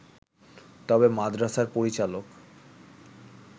তবে মাদ্রাসার পরিচালক